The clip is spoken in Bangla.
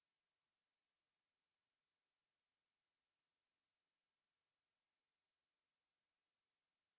আমি অন্তরা এই tutorialটি অনুবাদ এবং রেকর্ড করেছি